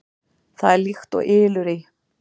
Það er líkt og ylur í